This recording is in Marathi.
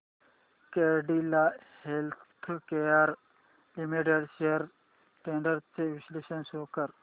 Cadila healthcare limited shares trends चे विश्लेषण शो कर